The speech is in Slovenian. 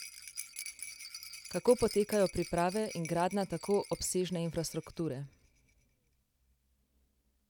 Kako potekajo priprave in gradnja tako obsežne infrastrukture?